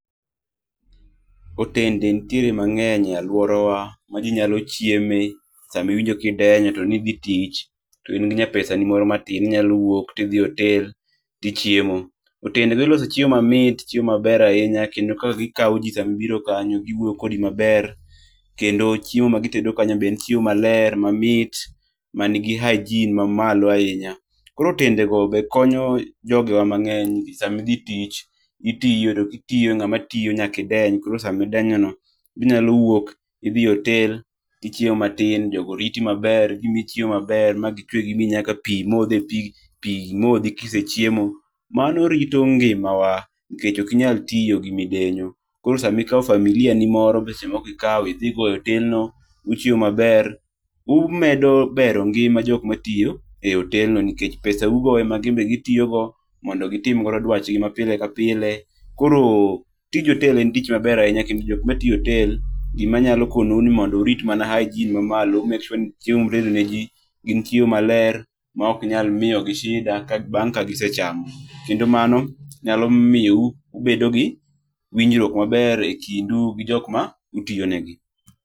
Otende nitiere mang'eny e alworawa ma ji nyalo chieme sama iwinjo ka idenyo to nidhi tich to in gi nya pesani moro matin. Inyalo wuok tidhi e otel tichiemo. Otende gi ilose chiemo mait, chiemo maber ahinya kendo ka gi kawo ji sama ibiro kanyo, giwuoyo kodi maber. Kendo chiemo magitedo kanyo be en chiemo maler mamit manigi hygene mamalo ahinya. Koro otendego be konyo jogo mang'eny ,sami dhi tich ,itiyo to kitiyo, ng'ama tiyo nyaka ideny. Koro samidenyo no, inyalo wuok idhi e otel tichiemo matin, jogo riti maber. Gimiyi chiemo maber ma gichwe gimiyi nyaka pi modhe. Kisechiemo. Mano rito ngimawa nikech ok inyal tiyo gi midenyo. Koro sama ikawo familia ni moro, be seche moko ikawo idhi go e otelno, uchiemo maber. IUmedo bero ngima jok matiyo e otelno, nikech pesau go ema gin be gitiyogo mondo gitim godo dwachgi mapile ka pile. Koro tij otel en tich maber ahinya kendo jok matiyo e otel, gimanyalo konowu ni mondo urit mana hygene mamalo. u make sure ni chiemo mutedo ne ji gin chiemo maler ma okinyal miyo gi shida bang' ka gisechamo. Kendo mano nyalo miyo u bedo gi winjruok maber e kindu gi jok ma utiyo negi.